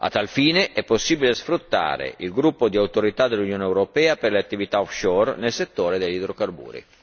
A tal fine è possibile sfruttare il gruppo di autorità dell'Unione europea per le attività offshore nel settore degli idrocarburi.